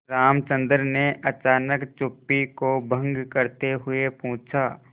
रामचंद्र ने अचानक चुप्पी को भंग करते हुए पूछा